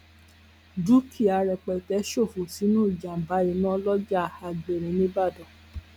dúkìá rẹpẹtẹ ṣòfò sínú ìjàǹbá iná lọjà àgbèní nìbàdàn